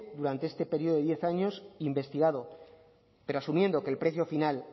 durante este periodo de diez años investigado pero asumiendo que el precio final